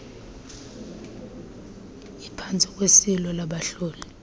iphantsi kweliso labahloli